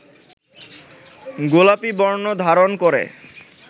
গোলাপী বর্ণ ধারণ করে